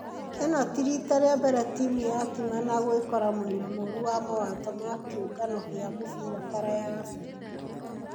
ĩno ti rita rĩa mbere timũ ya timana gwekora mwena mũru wa mawato ma kĩũngano gia mũfira baara ya africa.